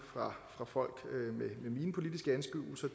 fra folk med mine politiske anskuelser